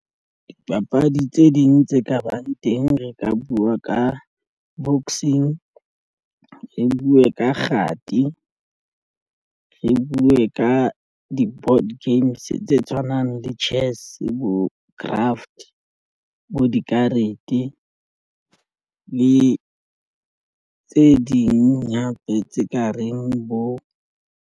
Dipapadi tse ding tse ka bang teng. Re ka buwa ka boxing, re buwe ka kgati re buwe ka di-board games tse tshwanang le chess bo craft, bo dikarete le tse ding hape tse ka reng bo.